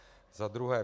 Za druhé.